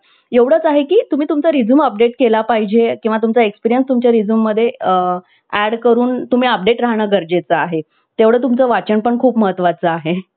असो किंवा अह गाण्याला चाल देणे असो, हरएक अपेक्षेची पूर्तता chat GPT करू शकते. ग्राहकसेवेसाठी ही प्रणाली तत्पर आणि